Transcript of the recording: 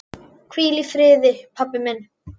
Hvíl í friði pabbi minn.